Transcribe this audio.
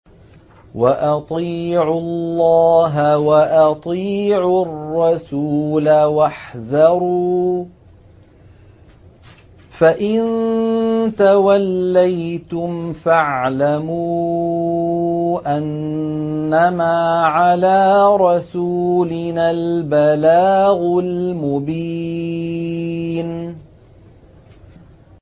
وَأَطِيعُوا اللَّهَ وَأَطِيعُوا الرَّسُولَ وَاحْذَرُوا ۚ فَإِن تَوَلَّيْتُمْ فَاعْلَمُوا أَنَّمَا عَلَىٰ رَسُولِنَا الْبَلَاغُ الْمُبِينُ